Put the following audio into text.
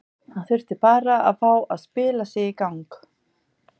Hann þurfti bara að fá að spila sig í gang.